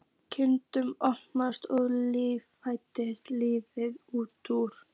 Kirkjudyrnar opnuðust og líkfylgd liðaðist út.